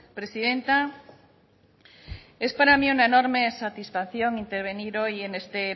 presidenta es para mí una enorme satisfacción intervenir hoy en este